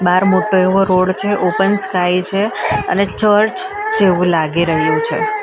બાર મોટો એવો રોડ છે ઓપન સ્કાય છે અને ચર્ચ જેવું લાગી રહ્યું છે.